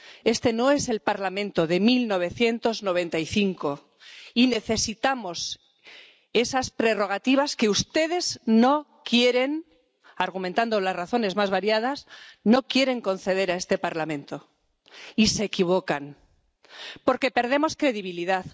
Este no es el Parlamento de 1995, y necesitamos esas prerrogativas que ustedes, argumentando las razones más variadas, no quieren conceder a este Parlamento. Y se equivocan. Porque perdemos credibilidad.